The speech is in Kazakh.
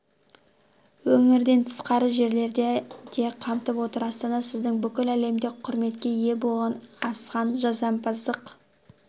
өңірден тысқары жерлерді де қамтып отыр астана сіздің бүкіл әлемде құрметке ие болған асқан жасампаздық